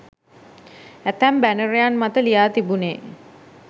ඇතැම් බැනරයන් මත ලියා තිබුණේ